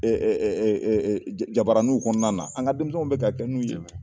Eee jabaraninw kɔnɔna na, an ka denmisɛnw bɛ ka kɛ n'u ye